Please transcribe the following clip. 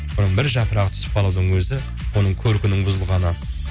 оның бір жапырағы түсіп қалудың өзі оның көркінің бұзылғаны